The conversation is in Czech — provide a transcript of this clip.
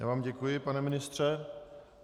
Já vám děkuji, pane ministře.